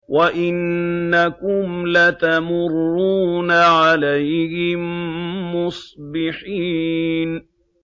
وَإِنَّكُمْ لَتَمُرُّونَ عَلَيْهِم مُّصْبِحِينَ